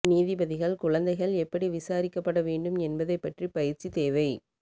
நீதிபதிகள் குழந்தைகள் எப்படி விசாரிக்கப்பட வேண்டும் என்பதைப் பற்றி பயிற்சி தேவை